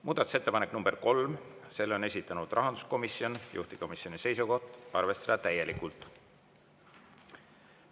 Muudatusettepanek nr 3, selle on esitanud rahanduskomisjon, juhtivkomisjoni seisukoht on arvestada täielikult.